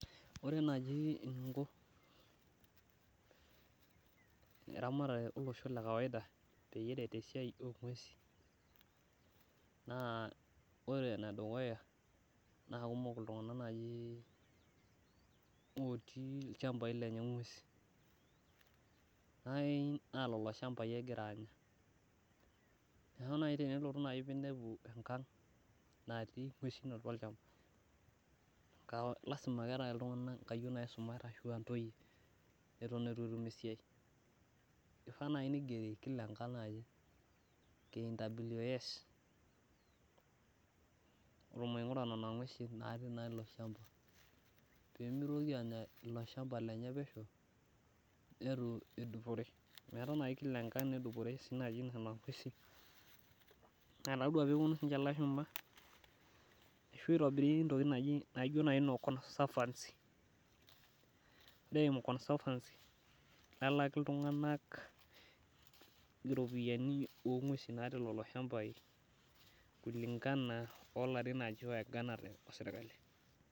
Ore naaji eninko erematare olosho le kawaida peyie, eret esiai oo nguesin, naa ore ene dukuya naa kumok iltunganak otii olchampai lenye nguesin, naa lelo shampai egira Anya. Neeku tenelo naaji ninepu enkang natii nguesin atua olchampa, naa lasima ake paa keetae iltunganak nkayiol ashu ntoyie neitu Eton eitu etum isiai. eifaa naaji nigero kila enkang naaji Kwa migura Nena nguesin natii naaji ilo shampa. pee mitoki aanya ilo shampa lenye pesho neitu edupore, eetae naaji Kila enkang naaji nedupore Nena nguesin. ore pee epuonu sii ninche ilashumba, ashu itobiri ntokitin naijo naaji noo conservancy .ore eimu conservancy nelaaki iltunganak, iropiyiani oonguesi natii lelo shampai kulingana ilarin oieganate osirkali.